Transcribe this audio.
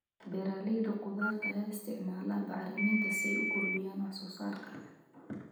Beeralayda khudaarta ayaa isticmaala bacriminta si ay u kordhiyaan wax soo saarka.